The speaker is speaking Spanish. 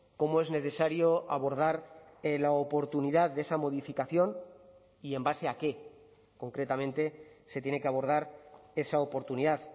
cómo es necesario abordar la oportunidad de esa modificación y en base a qué concretamente se tiene que abordar esa oportunidad